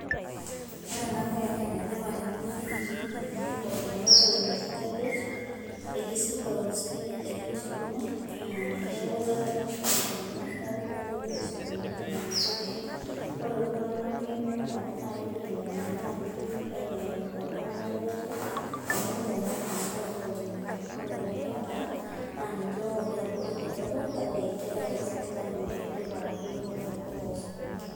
Ore enabae nenetipat temurua nikitii amu kumok iltung'anak ounito cabbage, etii si loun spinach ashu skuma, neku etaa taata kumok iltung'anak, neku mekure kipoito sokonini ainyang'u mpuka, ore iltung'anak lemeeta na kepuo ainyang'u naji ainyang'u iltung'anak lelatia, amu kumok naa iltung'anak taata ounito. Ore lemeeta, naa ninche otii abori kidogo, kake kegira ake sininche ayiolou tipat eunore ompuka osukuma.